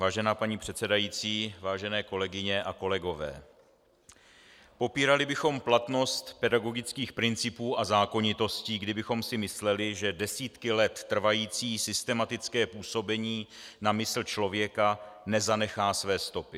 Vážená paní předsedající, vážené kolegyně a kolegové, popírali bychom platnost pedagogických principů a zákonitostí, kdybychom si mysleli, že desítky let trvající systematické působení na mysl člověka nezanechá své stopy.